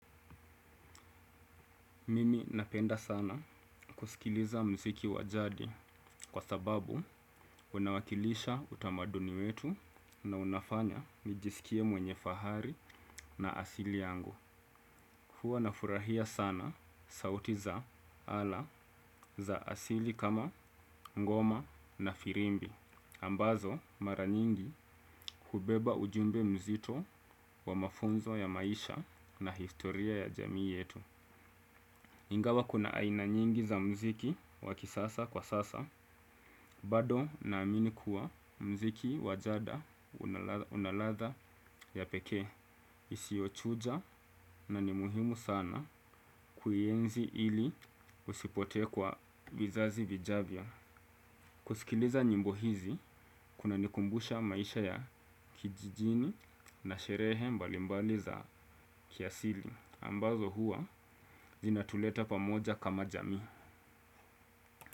Mimi napenda sana kusikiliza muziki wa jadi kwa sababu unawakilisha utamaduni wetu na unafanya nijisikie mwenye fahari na asili yangu. Huwa nafurahia sana sauti za ala za asili kama ngoma na firimbi. Ambazo mara nyingi hubeba ujumbe mzito wa mafunzo ya maisha na historia ya jamii yetu. Ingawa kuna aina nyingi za muziki wa kisasa kwa sasa, bado naamini kuwa muziki wa jadi una ladha ya pekee. Isiyochuja na ni muhimu sana kuienzi ili usipotee kwa vizazi vijavyo. Kusikiliza nyimbo hizi, kunanikumbusha maisha ya kijijini na sherehe mbalimbali za kiasili. Ambazo huwa zinatuleta pamoja kama jamii.